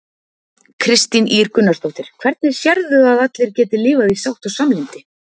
Kristín Ýr Gunnarsdóttir: Hvernig sérðu að allir geti lifað í sátt og samlyndi?